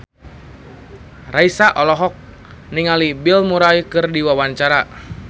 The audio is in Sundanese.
Raisa olohok ningali Bill Murray keur diwawancara